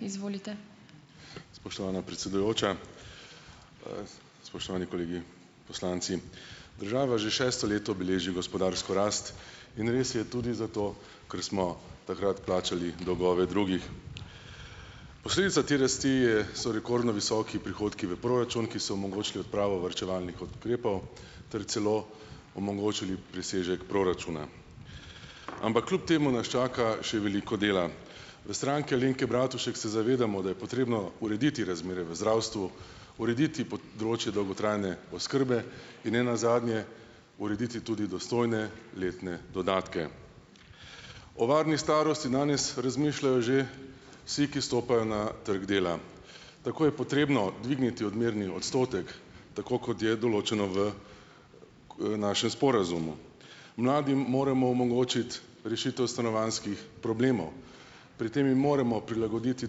Izvolite. Spoštovana predsedujoča, spoštovani kolegi poslanci. Država že šesto leto beleži gospodarsko rast in res je tudi zato, ker smo takrat plačali dolgove drugih. Posledica te rasti je so rekordno visoki prihodki v proračun, ki so omogočili odpravo varčevalnih ukrepov ter celo omogočili presežek proračuna, ampak kljub temu nas čaka še veliko dela. V Stranki Alenke Bratušek se zavedamo, da je potrebno urediti razmere v zdravstvu, urediti področje dolgotrajne oskrbe in nenazadnje urediti tudi dostojne letne dodatke. O varni starosti danes razmišljajo že vsi, ki stopajo na trg dela, tako je potrebno dvigniti odmerni odstotek, tako kot je določeno v v našem sporazumu, mladim moremo omogočiti rešitev stanovanjskih problemov, pri tem jim moramo prilagoditi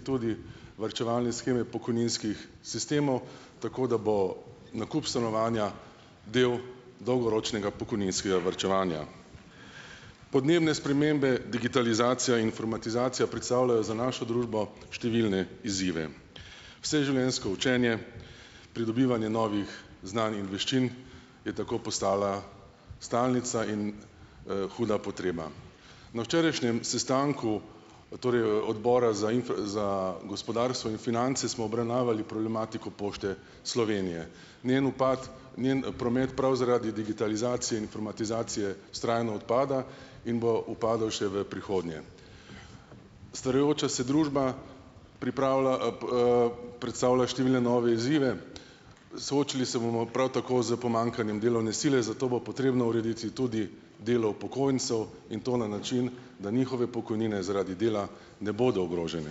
tudi varčevalne sheme pokojninskih sistemov, tako da bo nakup stanovanja del dolgoročnega pokojninskega varčevanja. Podnebne spremembe, digitalizacija, informatizacija predstavljajo za našo družbo številne izzive, vseživljenjsko učenje, pridobivanje novih znanih veščin je tako postala stalnica in, huda potreba. Na včerajšnjem sestanku torej odbora za za gospodarstvo in finance smo obravnavali problematiko Pošte Slovenije, njen upad, njen promet prav zaradi digitalizacije, informatizacije vztrajno odpada in bo upadal še v prihodnje. Starajoča se družba pripravlja, predstavlja številne nove izzive, soočili se bomo prav tako s pomanjkanjem delovne sile, zato bo potrebno urediti tudi delo upokojencev in to na način, da njihove pokojnine zaradi dela ne bodo ogrožene.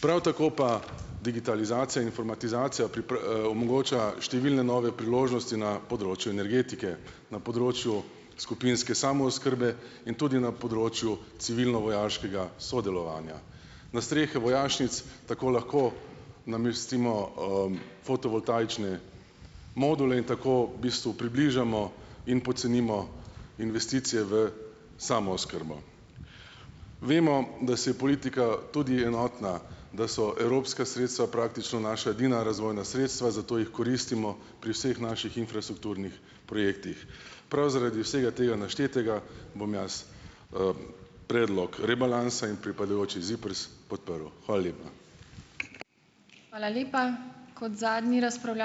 Prav tako pa digitalizacija, informatizacija omogoča številne nove priložnosti na področju energetike, na področju skupinske samooskrbe in tudi na področju civilno-vojaškega sodelovanja, na strehe vojašnic tako lahko namestimo, fotovoltaične module in tako v bistvu približamo in pocenimo investicije v samooskrbo. Vemo, da si je politika tudi enotna, da so evropska sredstva praktično naša edina razvojna sredstva, zato jih koristimo pri vseh naših infrastrukturnih projektih. Prav zaradi vsega tega naštetega bom jaz, predlog rebalansa in pripadajoči ZIPRS podprl, hvala lepa. Hvala lepa, kot zadnji ...